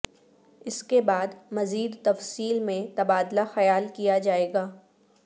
اس کے بعد مزید تفصیل میں تبادلہ خیال کیا جائے گا